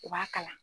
U b'a kalan